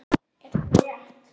Er þetta rétt?